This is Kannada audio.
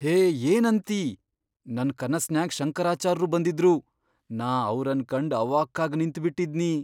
ಹೇ ಏನಂತಿ ನನ್ ಕನಸ್ನ್ಯಾಗ್ ಶಂಕರಾಚಾರ್ರು ಬಂದಿದ್ರು, ನಾ ಅವ್ರನ್ ಕಂಡ್ ಅವಾಕ್ಕಾಗ್ ನಿಂತ್ಬಿಟ್ಟಿದ್ನಿ.